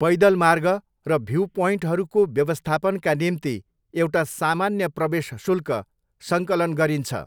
पैदल मार्ग र भ्युप्वइन्टहरूको व्यवस्थापनका निम्ति एउटा सामान्य प्रवेश शुल्क सङ्कलन गरिन्छ।